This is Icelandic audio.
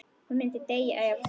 Hún myndi deyja ef.?